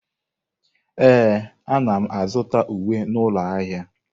Ee, ana m azụta uwe n'ụlọ ahịa ahịa.